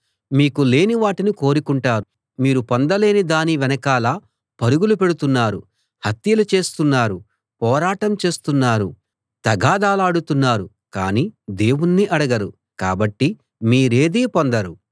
మీకు లేని వాటిని కోరుకుంటారు మీరు పొందలేని దాని వెనకాల పరుగులు పెడుతున్నారు హత్యలు చేస్తున్నారు పోరాటం చేస్తున్నారు తగాదాలాడుతున్నారు కానీ దేవుణ్ణి అడగరు కాబట్టి మీరేదీ పొందరు